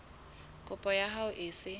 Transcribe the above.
kopo ya hao e se